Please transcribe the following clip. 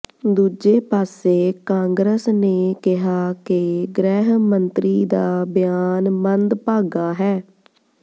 ਦੂਜੇ ਪਾਸੇ ਕਾਂਗਰਸ ਨੇ ਕਿਹਾ ਕਿ ਗ੍ਰਹਿ ਮੰਤਰੀ ਦਾ ਬਿਆਨ ਮੰਦਭਾਗਾ ਹੈ